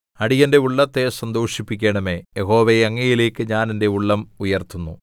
അടിയന്റെ ഉള്ളത്തെ സന്തോഷിപ്പിക്കണമേ യഹോവേ അങ്ങയിലേക്ക് ഞാൻ എന്റെ ഉള്ളം ഉയർത്തുന്നു